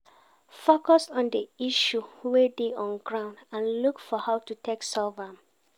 Focus on di issue wey dey on ground and look for how to take solve am